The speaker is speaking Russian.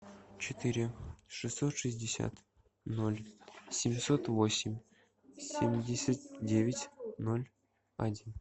четыре шестьсот шестьдесят ноль семьсот восемь семьдесят девять ноль один